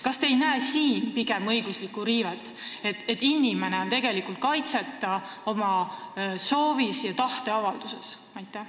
Kas te ei näe selles õiguste riivet, et inimesed on oma tahteavalduses kaitseta?